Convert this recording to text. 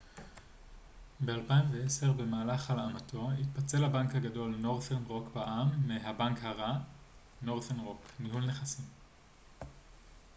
"ב-2010 במהלך הלאמתו התפצל הבנק הגדול נורת'רן רוק בע""מ מ""הבנק הרע" נורת'רן רוק ניהול נכסים.